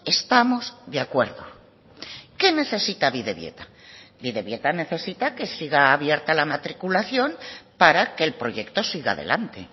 estamos de acuerdo qué necesita bidebieta bidebieta necesita que siga abierta la matriculación para que el proyecto siga adelante